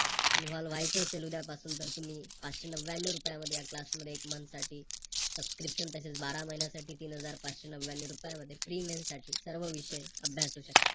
Invovle व्हायच असेल उदयपासून तर तुम्ही पाचशे नव्यान्नव रुपया मध्ये या Class एक Month साठी Subscription तसेच बारा महिन्यासाठी तीन हजार पाचशे नव्यान्नव रुपया मध्ये साठी सर्व विषय अभ्यासू शकता.